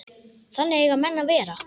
Þannig eiga menn að vera.